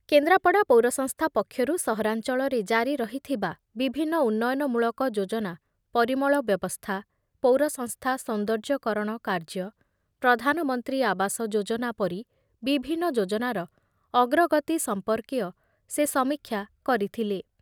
କେନ୍ଦ୍ରାପଡ଼ା ପୌର ସଂସ୍ଥା ପକ୍ଷରୁ ସହରାଞ୍ଚଳରେ ଜାରି ରହିଥିବା ବିଭିନ୍ନ ଉନ୍ନୟନମୂଳକ ଯୋଜନା ପରିମଳବ୍ୟବସ୍ଥା, ପୌରସଂସ୍ଥା ସୌନ୍ଦର୍ଯ୍ୟକରଣ କାର୍ଯ୍ୟ, ପ୍ରଧାନମନ୍ତ୍ରୀ ଆବାସ ଯୋଜନା ପରି ବିଭିନ୍ନ ଯୋଜନାର ଅଗ୍ରଗତି ସଂପର୍କୀୟ ସେ ସମୀକ୍ଷା କରିଥିଲେ।